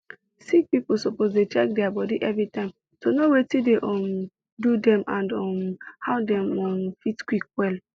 sick people suppose dey check their body everytime to know watin dey um do dem and um how dem um fit quick well